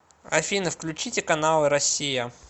афина включите каналы россия